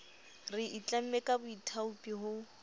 re itlamme ka boithaopi ho